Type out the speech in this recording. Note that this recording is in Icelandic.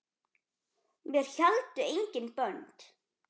Mér héldu engin bönd.